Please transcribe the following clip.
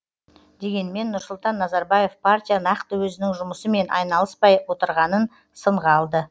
дегенмен нұрсұлтан назарбаев партия нақты өзінің жұмысымен айналыспай отырғанын сынға алды